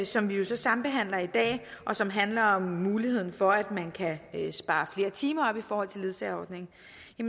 som vi jo så sambehandler i dag og som handler om muligheden for at man kan spare flere timer op i forhold til ledsageordningen